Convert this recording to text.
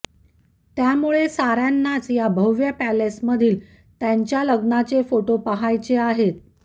त्यामुळे साऱ्यांनाच या भव्य पॅलेसमधील त्यांच्या लग्नाचे फोटो पाहायचे आहेत